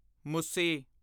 ਮੁਸੀ